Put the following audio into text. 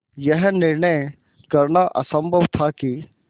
यह निर्णय करना असम्भव था कि